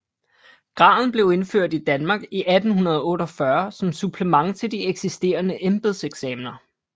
Graden blev indført i Danmark i 1848 som supplement til de eksisterende embedseksamener